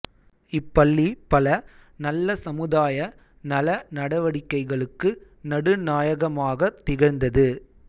இப்பள்ளி பல நல்ல சமுதாய நல நடவடிக்கைகளுக்கு நடு நாயகமாகத் திகழ்ந்தது